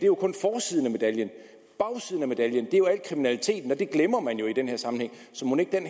jo kun forsiden af medaljen bagsiden af medaljen er jo al kriminaliteten og det glemmer man i den her sammenhæng så mon ikke den